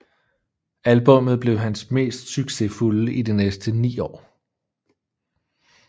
Albummet blev hans mest succesfulde i de næste ni år